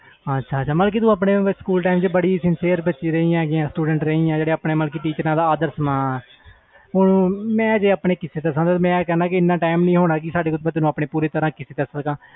ਹਾਂ ਬਿਲਕੁਲ ਤੂੰ ਆਪਣੇ ਸਕੂਲ ਵਿਚ ਬਹੁਤ sincere ਕੁੜੀ ਰਹੀ ਜੋ ਆਪਣੇ teachers ਦਾ ਆਦਰ ਸਨਮਾਨ ਜੇ ਮੈਂ ਆਪਣੇ ਕਿਸੇ ਦਸਾ ਤੇ ਸਾਡੇ ਕੋਲ ਇਹਨਾਂ time ਨਹੀਂ ਹੋਣਾ